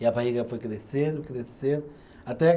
E a barriga foi crescendo, crescendo até